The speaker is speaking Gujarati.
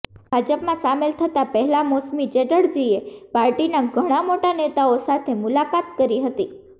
ભાજપમાં સામેલ થતા પહેલા મૌસમી ચેટર્જીએ પાર્ટીના ઘણા મોટા નેતાઓ સાથે મુલાકાત કરી હતી